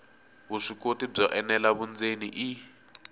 vuswikoti byo enela vundzeni i